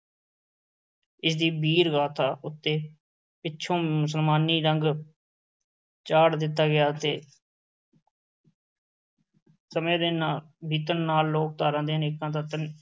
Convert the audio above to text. ਇਸ ਦੀ ਵੀਰ-ਗਾਥਾ ਉੱਤੇ, ਪਿੱਛੋਂ ਮੁਸਲਮਾਨੀ ਰੰਗ ਚਾੜ੍ਹ ਦਿੱਤਾ ਗਿਆ ਅਤੇ ਸਮੇਂ ਦੇ ਨਾ~ ਬੀਤਣ ਨਾਲ ਲੋਕ-ਧਾਰਾ ਦੇ ਅਨੇਕਾਂ ਤੱਤ